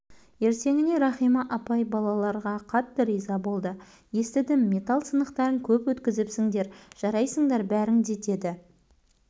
ертеңіне рахима апай балаларға қатты риза болды естідім металл сынықтарын көп өткізіпсіндер жарайсыңдар бәрің де деді